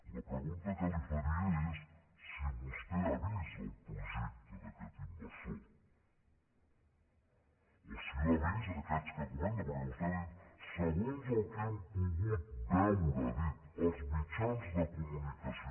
la pregunta que li faria és si vostè ha vist el projecte d’aquest inversor o si l’han vist aquests que comenta perquè vostè ha dit segons el que hem pogut veure als mitjans de comunicació